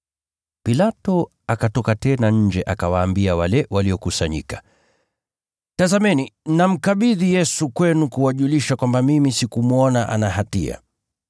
Pilato akatoka tena nje akawaambia wale waliokusanyika, “Tazameni, namkabidhi Yesu kwenu kuwajulisha kwamba mimi sikumwona ana hatia.”